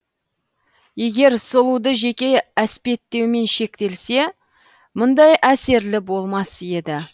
егер сұлуды жеке әспеттеумен шектелсе мұндай әсерлі болмас еді